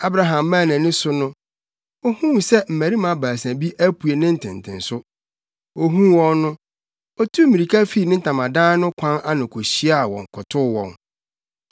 Abraham maa nʼani so no, ohuu sɛ mmarima baasa bi apue ne ntentenso. Ohuu wɔn no, otuu mmirika fii ne ntamadan no kwan ano kohyiaa wɔn, kotow wɔn.